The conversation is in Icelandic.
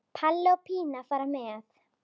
Palli og Pína fara með.